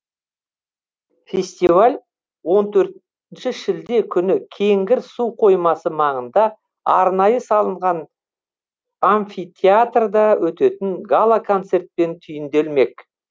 фестиваль он төртінші шілде күні кеңгір су қоймасы маңында арнайы салынған амфитеатрда өтетін гала концертпен түйінделмек